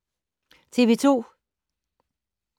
TV 2